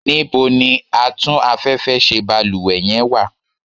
níbo ni Atún afẹ́fẹ́ ṣe balúwẹ́ yen wa?